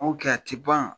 N ko a tɛ ban